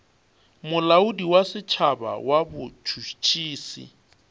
molaodi wa setšhaba wa botšhotšhisi